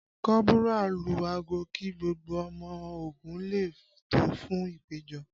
Kọ́bùrà lu aago kí gbogbo ọmọ ogun lè tò fún ìpèjọ